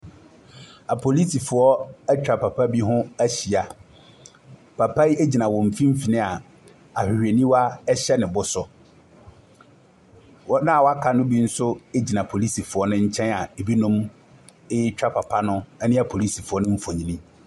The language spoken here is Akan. Aporisifoɔ atwa papa bi ho ahyia, papa yi ɛgyina wɔn mfimfini a ahwehwɛniwa ɛhyɛ ne bo so. Wɔn wɔaka ne bi nso ɛgyina porisifoɔ no nkyɛn a ɛbinom ɛretwa papa no ɛne aporisifoɔ no mfnyini.